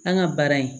An ka baara in